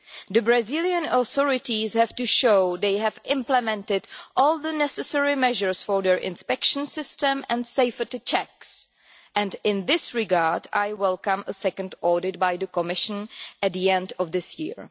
The Brazilian authorities have to show they have implemented all the necessary measures for their inspection system and safety checks, and in this regard I welcome a second audit by the Commission at the end of this year.